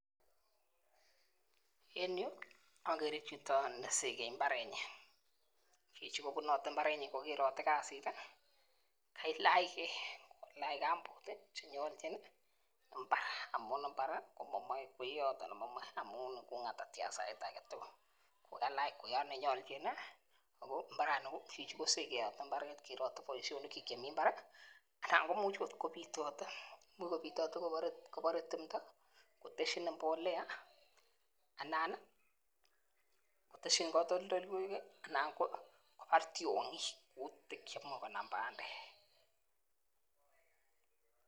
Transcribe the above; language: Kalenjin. En yuu okere chito nesekei imbarenyin, chichi kobunote imbarenyin komerote kasit tii kailachgee kailach kambut tii chenyolchin nii imbar amun imbar komomii kwoyot anan momii amun iku ngatatian sait agetutuk, kikalach kwoyot nenyoljin nii amun chichi kosekeyote imbaret tii kerotet boishonik kyuk chemii imbarii ana komuch kopitote, imuch kopitote kobore timdo koteshi mbolea anan nii koteshin kotoldoloiwek kii anan kobar tyongik kutit chemoi konam pandek.